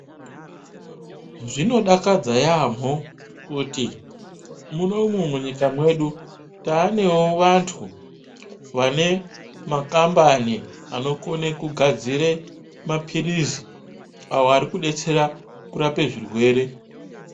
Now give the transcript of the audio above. Zvino dakadza yamho kuti munomu munyika medu taanewo vantu vane makambani ano kone kugadzire ma pirizi awo ari kudetsera kurapa zvirwere.